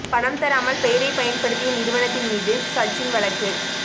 பணம் தராமல் பெயரைப் பயன்படுத்திய நிறுவனத்தின் மீது சச்சின் வழக்கு